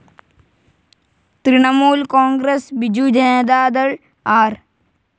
Trinamool Congress, Biju Janata Dal, R.